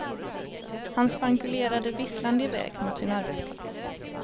Han spankulerade visslande i väg mot sin arbetsplats.